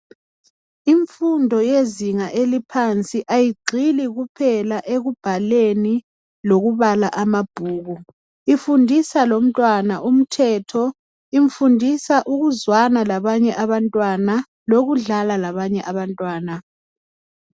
Imfundo yezinga eliphansi ayigxili kuphela ekubhaleni lokubala ama bhuku. Ifundisa lomtwana umthetho, ifundisa ukuzwana labanye abantwana, lokudlala labanye abantwana